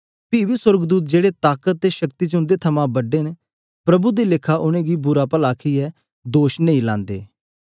पी बी सोर्गदूत जेड़े समर्थ अते सामथ्य च उन्दे कन्ने बड्डे न प्रभु दे लेखा उनेगी बुरा पला बोलदे कसुर लगांदे